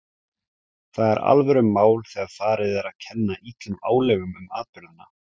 Það er alvörumál þegar farið er að kenna illum álögum um atburðina.